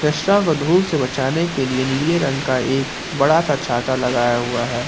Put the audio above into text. को धूप से बचने के लिए नीले रंग का एक बड़ा सा छाता लगाया हुआ है।